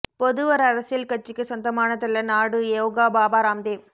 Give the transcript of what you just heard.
பொது ஒரு அரசியல் கட்சிக்கு சொந்தமானதல்ல நாடு யோகா பாபா ராம் தேவ்